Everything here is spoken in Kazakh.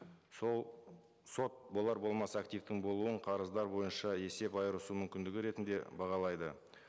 сот болар болмас активтің болуын қарыздар бойынша есеп айырысу мүмкіндігі ретінде бағалайды